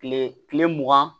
Kile kile mugan